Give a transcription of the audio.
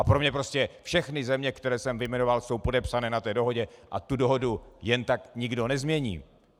A pro mě prostě všechny země, které jsem vyjmenoval, jsou podepsané na té dohodě a tu dohodu jen tak nikdo nezmění.